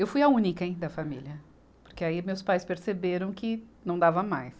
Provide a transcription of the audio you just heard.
Eu fui a única em da família, porque aí meus pais perceberam que não dava mais.